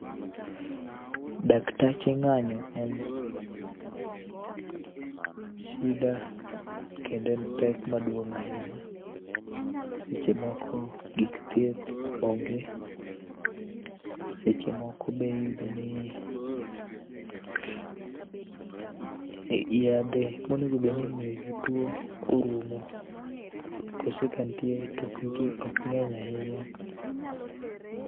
Daktache ng'anyo en shida kendo en pek maduong' ahinya. Seche moko gik thieth onge, seche moko be iyudo ni yadhe monegobedni imiyo jotuo orumo kose kantie to okng'eny ahinya.